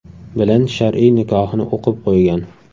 bilan shar’iy nikohini o‘qib qo‘ygan.